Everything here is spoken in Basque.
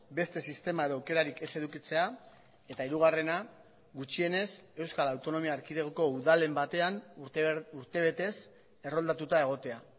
beste sistema edo aukerarik ez edukitzea eta hirugarrena gutxienez euskal autonomia erkidegoko udalen batean urtebetez erroldatuta egotea